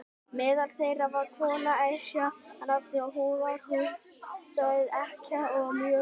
Meðal þeirra var kona, Esja að nafni, og var hún sögð ekkja og mjög auðug.